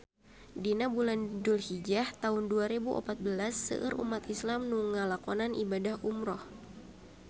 Dina bulan Dulhijah taun dua rebu opat belas seueur umat islam nu ngalakonan ibadah umrah